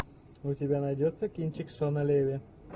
у тебя найдется кинчик шона леви